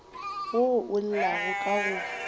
wo o llago ka go